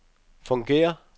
fungerer